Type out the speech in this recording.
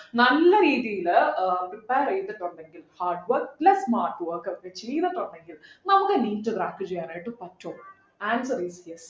നല്ല രീതിയില് ഏർ prepare ചെയ്തിട്ടുണ്ടെങ്കിൽ hardwork plus smart work ക്കെ ചെയ്തിട്ടുണ്ടെങ്കിൽ നമ്മക്ക്‌ NEET crack ചെയ്യാനായിട്ട് പറ്റുള്ളൂ answer easy യാ